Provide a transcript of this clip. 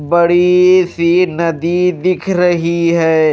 बड़ीसी नदी दिख रही है।